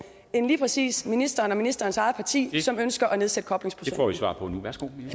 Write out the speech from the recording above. end lige præcis ministerens ministerens eget parti som ønsker at nedsætte koblingsprocenten